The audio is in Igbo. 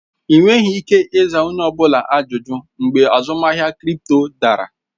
Ị nweghị ike ịza onye ọ bụla ajụjụ mgbe azụmahịa krịpto dara